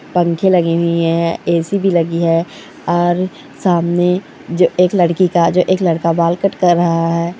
पंखे लगे हुए हैं ऐ_सी भी लगी हुई है और सामने एक लड़की का जो एक लड़का बाल कट कर रहा है।